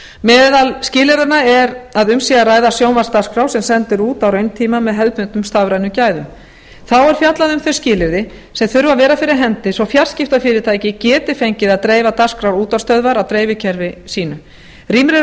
meðal skilyrðanna er að um sé að ræða sjónvarpsdagskrá sem send er út á rauntíma með hefðbundnum stafrænum gæðum þá er fjallað um þau skilyrði sem þurfa að vera fyrir hendi svo fjarskiptafyrirtæki geti fengið að dreifa dagskrá útvarpsstöðvar á dreifikerfi sínu rýmri